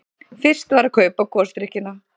Fyrst var að kaupa gosdrykkina.